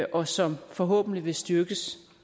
og som forhåbentlig vil styrkes